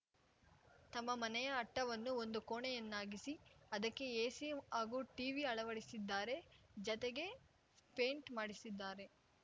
ತಮ್ಮ ಮನೆಯ ಅಟ್ಟವನ್ನು ಒಂದು ಕೋಣೆಯನ್ನಾಗಿಸಿ ಅದಕ್ಕೆ ಎಸಿ ಹಾಗೂ ಟೀವಿ ಅಳವಡಿಸಿದ್ದಾರೆ ಜತೆಗೆ ಪೇಂಟ್‌ ಮಾಡಿಸಿದ್ದಾರೆ